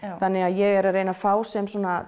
þannig að ég er að reyna að fá sem